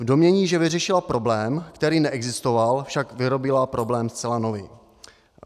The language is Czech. V domnění, že vyřešila problém, který neexistoval, však vyrobila problém zcela nový.